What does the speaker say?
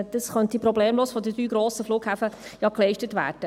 Diese könnten problemlos von den drei grossen Flughäfen geleistet werden.